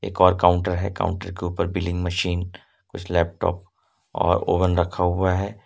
एक और काउंटर है काउंटर के ऊपर बिलिंग मशीन उस लैपटॉप और ओवन रखा हुआ है।